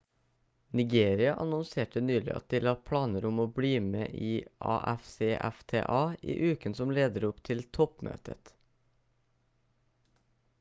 nigeria annonserte nylig at de la planer om å bli med i afcfta i uken som leder opp til toppmøtet